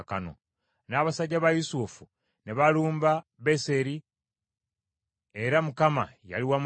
N’abasajja ba Yusufu ne balumba Beseri era Mukama yali wamu nabo.